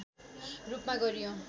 रूपमा गरियो